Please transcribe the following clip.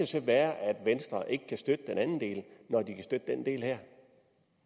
så være at venstre ikke kan støtte den anden del når de kan støtte den del her